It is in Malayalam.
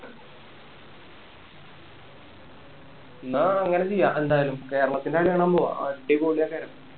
എന്നാ അങ്ങനെ ചെയ്യാം എന്തായാലും കേരളത്തിൻ്റെ കളി കാണാൻ പോവാ അടിപൊളി ആക്കാം